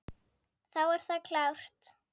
Þá er það klárt.